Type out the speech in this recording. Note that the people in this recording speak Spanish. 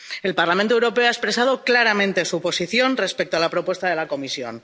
El Parlamento Europeo ha expresado claramente su posición respecto a la propuesta de la Comisión.